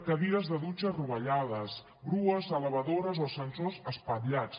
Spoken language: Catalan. cadires de dutxa rovellades grues elevadores o ascensors espatllats